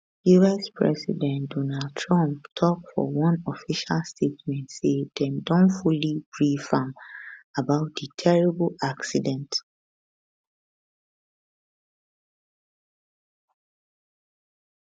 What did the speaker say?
us president donald trump tok for one official statement say dem don fully brief am am about di terrible accident